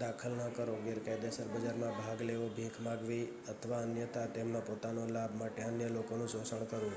દાખલ ન કરો ગેરકાયદેસર બજારમાં ભાગ લેવો ભીખ માંગવી અથવા અન્યથા તેમના પોતાના લાભ માટે અન્ય લોકોનું શોષણ કરવું